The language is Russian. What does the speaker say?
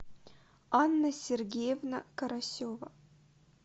анна сергеевна карасева